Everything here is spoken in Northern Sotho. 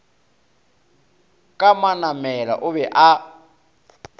ka manamela o be a